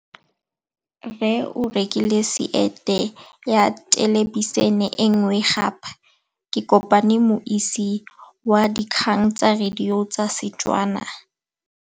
Rre o rekile sete ya thêlêbišênê e nngwe gape. Ke kopane mmuisi w dikgang tsa radio tsa Setswana.